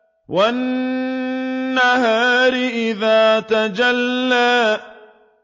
وَالنَّهَارِ إِذَا تَجَلَّىٰ